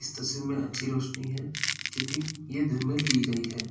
इस तस्वीर में अच्छी रोशनी है क्योंकि ये दिन में ली गई है।